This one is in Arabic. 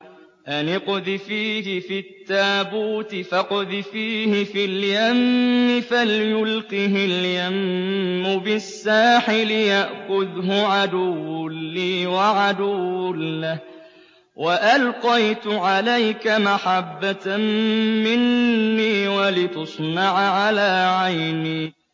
أَنِ اقْذِفِيهِ فِي التَّابُوتِ فَاقْذِفِيهِ فِي الْيَمِّ فَلْيُلْقِهِ الْيَمُّ بِالسَّاحِلِ يَأْخُذْهُ عَدُوٌّ لِّي وَعَدُوٌّ لَّهُ ۚ وَأَلْقَيْتُ عَلَيْكَ مَحَبَّةً مِّنِّي وَلِتُصْنَعَ عَلَىٰ عَيْنِي